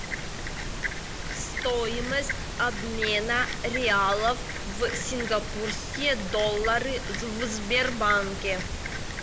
стоимость обмена реалов в сингапурские доллары в сбербанке